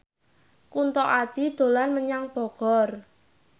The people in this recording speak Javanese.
Kunto Aji dolan menyang Bogor